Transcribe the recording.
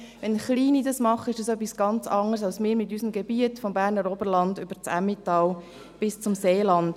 Wenn es Kleine machen, so ist es etwas ganz anderes als bei uns, mit unserem Gebiet vom Berner Oberland über das Emmental bis zum Seeland.